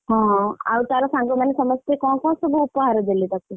ହଁ ଆଉ ତାର ସାଙ୍ଗମାନେ ସମସ୍ତେ କଣ କଣ ସବୁ ଉପହାର ଦେଲେ ତାକୁ?